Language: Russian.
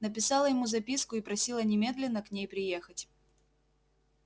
написала ему записку и просила немедленно к ней приехать